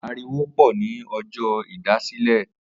Ariwo pò ni ọjọ́ ìdásílẹ̀